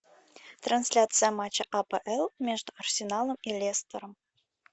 трансляция матча апл между арсеналом и лестером